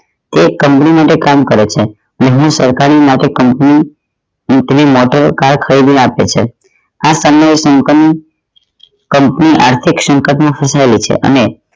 એ company માટે કામ કરે છે તેમની સરકારી માટે company company માટે આપે છે આ સમય આર્થિક સંકટ માં ફસાયેલી છે અને